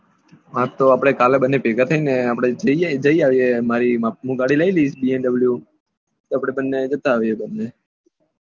હા તો આપડે કાલે ભેગા થઇ ને આપડે જઈ આવીએ હું ગાડી લઇ લઈશ VMW તો આપડે બંને જતા આવીએ